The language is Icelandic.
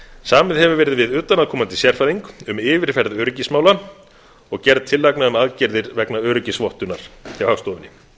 samið hefur verið við utan að komandi sérfræðing um yfirferð öryggismála og gerð tillagna um aðgerðir vegna öryggisvottunar hjá hagstofunni